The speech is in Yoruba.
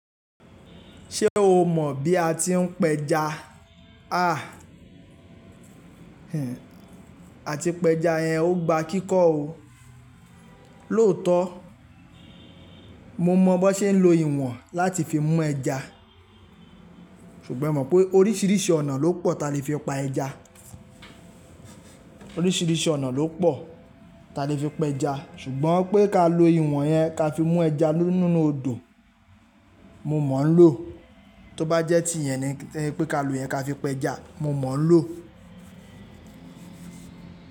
Ṣé o mọ̀ bí a ti ń pẹja? Àti pẹja yẹn ó gba kíkọ́ o. Lóòótọ́, mo mọ̀ bó ṣe ń lo ìwọ̀n láti fi mú ẹja, ṣùgbọ́n e mọ̀ pé oríṣìíríṣìí ọ̀nà ló pọ̀ ta lè fi pa ẹja. Oríṣìíríṣìí ọ̀nà ló pọ̀ ta lè fi pẹja ṣùgbọ́n pé ká lo ìwọ̀n yẹn ká fi mú ẹja nínú odò, mo mọ̀ ń lò. Tóbájẹ́ tí ìyẹn ni pé ká lo ìyẹn ká fi pẹja, mo mọ̀ ń lò.